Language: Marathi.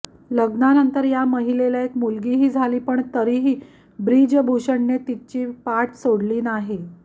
लग्नानंतर या महिलेला एक मुलगीही झाली पण तरीही ब्रिजभूषणने मात्र तिची पाठ सोडली नाही